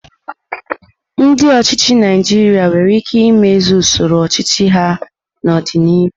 Ndi ochịchị Naijiria nwere ike imezi usoro ọchịchị ha n'ọdịnihu.